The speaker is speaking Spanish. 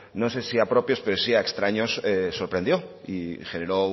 no sé si a propios pero sí a extraños sorprendió y generó